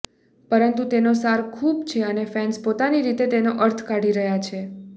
પરંતુ તેનો સાર ખુબ છે અને ફેન્સ પોતાની રીતે તેનો અર્થ કાઢી રહ્યા છે